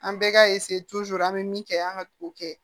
An bɛɛ ka an bɛ min kɛ an ka t'o kɛ